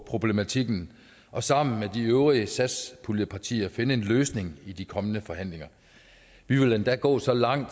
problematikken og sammen med de øvrige satspuljepartier finde en løsning i de kommende forhandlinger vi vil endda gå så langt